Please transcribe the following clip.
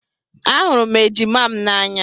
Ahụrụ m ejima m n'anya